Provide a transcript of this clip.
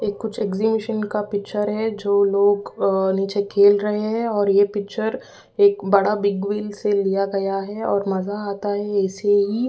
ए कुछ एक्सबिशन का पिक्चर है जो लोग अ नीचे खेल रहे हैं और यह पिक्चर एक बड़ा बिग से लिया गया है और मज़ा आता है ऐसे ही।